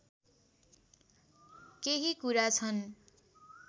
केही कुरा छन्